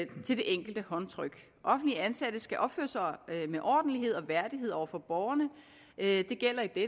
til det enkelte håndtryk offentligt ansatte skal opføre sig med ordentlighed og værdighed over for borgerne det gælder i